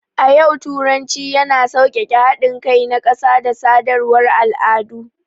A yau, turanci yana sauƙaƙe haɗin kai na ƙasa da sadarwar al'adu.